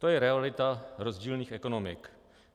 To je realita rozdílných ekonomik.